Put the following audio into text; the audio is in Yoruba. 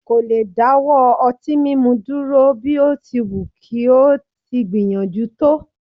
kò lè dáwọ́ ọtí mímu dúró, bí ó ti wù kí ó ti gbìyànjú tó